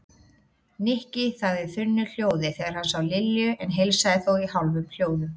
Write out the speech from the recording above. Nikki þagði þunnu hljóði þegar hann sá Lilju en heilsaði þó í hálfum hljóðum.